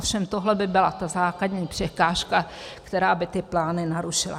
Ovšem tohle by byla ta základní překážka, která by ty plány narušila.